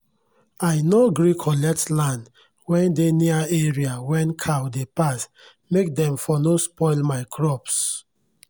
i nor gree collect land wen dey near area wen cow dey pass make dem for nor spoil my crops